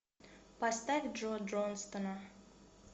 поставь джо джонстона